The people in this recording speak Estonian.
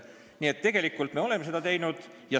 Nii et tegelikult me oleme seda teinud.